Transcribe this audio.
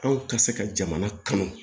Anw ka se ka jamana kanu